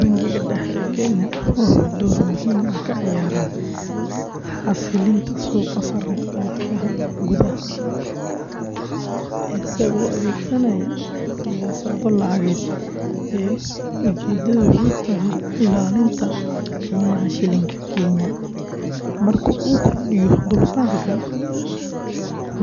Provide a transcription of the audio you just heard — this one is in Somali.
Bangiga Dhexe ee Kenya wuxuu door muhiim ah ka ciyaaraa xasilinta suuqa sarrifka lacagaha gudaha, isagoo adeegsanaya siyaasado lacageed oo ujeedadoodu tahay ilaalinta qiimaha shilling-ka Kenya. Marka uu kordhiyo dulsaarka,